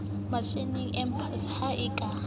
mashaeng empaha ho a ka